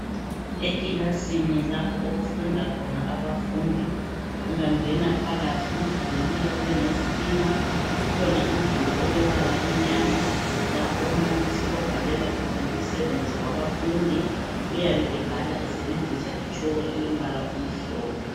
Ekilasini lapho okufunda khona abafundi ungangena phakathi umduli uyakhiwe ngezitina kukhona umduli olombala omnyama lapho umbalisi obhalela khona umsebenzi wabafundi, uyabe ebhala esebenzisa itshoko elombala omhlophe.